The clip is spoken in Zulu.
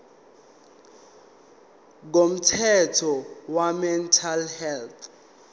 komthetho wemental health